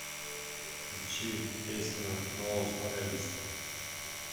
включи песня ноу стайлист